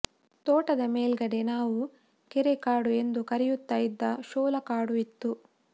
ತೋಟದ ಮೇಲ್ಗಡೆ ನಾವು ಕೆರೆ ಕಾಡು ಎಂದು ಕರೆಯುತ್ತಾ ಇದ್ದ ಶೋಲಾ ಕಾಡು ಇತ್ತು